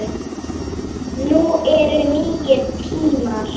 Nú eru nýir tímar.